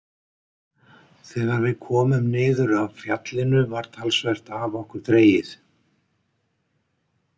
Þegar við komum niður af fjallinu var talsvert af okkur dregið.